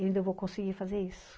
E ainda vou conseguir fazer isso.